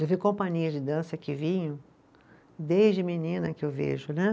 Eu vi companhias de dança que vinham, desde menina que eu vejo, né?